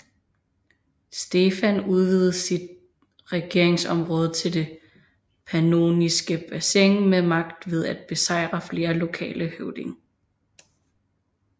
Stefan udvidede sit regeringsområde til det pannoniske bassin med magt ved at besejre flere lokale høvdinge